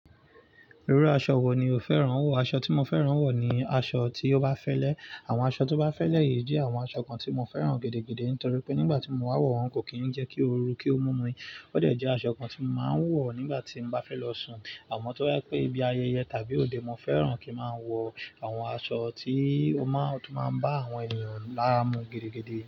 Irú aṣọ wo ni o fẹ́ràn wọ̀? Aṣọ tí mo fẹ́ràn wọ̀ ni aṣọ tí ó bá fẹ́lẹ́. Àwọn aṣọ tó bá fẹ́lẹ́ yìí jẹ́ àwọn aṣọ kan tí mo fẹ́ràn gẹ́gẹ́gẹ́ nítorí pé nígbà tí mo wá wọ̀ wọ́n kò kí ń jẹ́ kí ó ru kí ó mú mi. Ó dẹ́ jẹ́ aṣọ kan tí mo máa ń wọ̀ nígbà tí mo bá fẹ́ lọ sùn. Àmọn tó jẹ́ pé ibí ayẹyẹ tàbí òde, mo fẹ́ràn kí n máa wọ àwọn aṣọ tí ó máa ń, tí ó máa ń bá àwọn ènìyàn lára mu gidigidi.